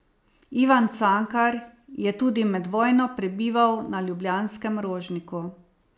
Ivan Cankar je tudi med vojno prebival na ljubljanskem Rožniku.